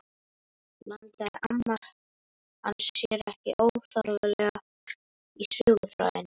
Blandaði amma hans sér ekki óþarflega í söguþráðinn?